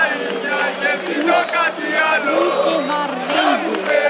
Fúsi var reiður.